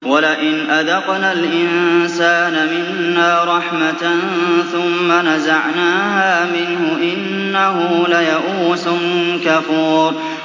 وَلَئِنْ أَذَقْنَا الْإِنسَانَ مِنَّا رَحْمَةً ثُمَّ نَزَعْنَاهَا مِنْهُ إِنَّهُ لَيَئُوسٌ كَفُورٌ